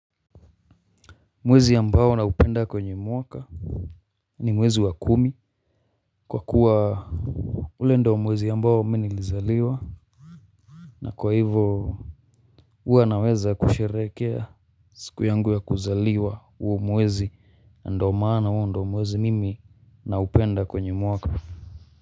Mwezi ambao na upenda kwenye mwaka ni mwezi wa kumi kwa kuwa ule ndio mwezi ambao mi nilizaliwa na kwa hivo huwa naweza kusherekea siku yangu ya kuzaliwa huo mwezi ndio maana huo ndio mwezi mimi naupenda kwenye mwaka.